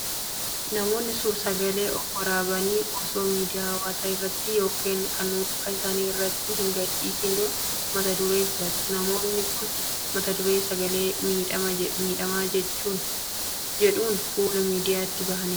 Namoonni suur sagalee of waraaban osoo miidiyaa hawaasaa irratti yookiin kan dhuunfaa isaanii irratti hin gadhiisiin dura, mata duree filatu. Namoonni kun mata duree Sagalee miidhamaa jedhuun fuula miidiyaatti bahanii jiru.